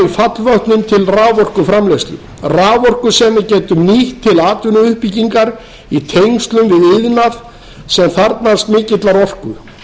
fallvötnum til raforkuframleiðslu raforku sem við getum nýtt til atvinnuuppbyggingar í tengslum við iðnað sem þarfnast mikillar orku